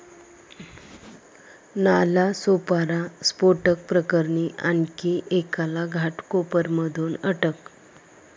नालासोपारा स्फोटक प्रकरणी आणखी एकाला घाटकोपरमधून अटक